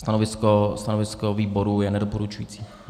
Stanovisko výboru je nedoporučující.